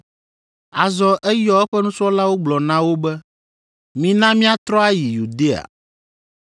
Azɔ eyɔ eƒe nusrɔ̃lawo gblɔ na wo be, “Mina míatrɔ ayi Yudea.”